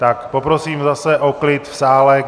Tak poprosím zase o klid v sále.